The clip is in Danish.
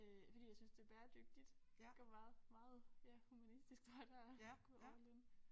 Øh fordi jeg synes det bæredygtigt køber meget meget ja humanistisk tøj der går all in